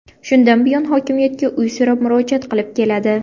Shundan buyon hokimiyatga uy so‘rab murojaat qilib keladi.